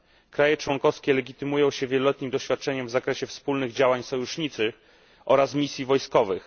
Kraje członkowskie legitymują się wieloletnim doświadczeniem w zakresie wspólnych działań sojuszniczych oraz misji wojskowych.